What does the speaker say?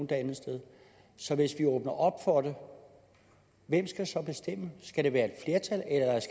det andet sted så hvis vi åbner op for det hvem skal så bestemme det skal det være